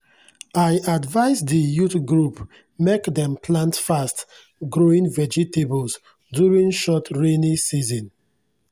i advise di youth group mek dem plant fast-growing vegetables during short rainy season.